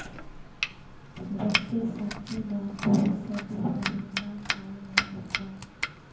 ਵਰਤੇ ਸਾਕੇ ਦਾ ਕੋਈ ਸਦੀ ਮਹੀਨਾ ਸਾਲ ਨਹੀਂ ਹੁੰਦਾ